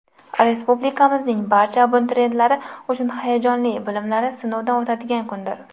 Respublikamizning barcha abituriyentlari uchun hayajonli, bilimlari sinovdan o‘tadigan kundir.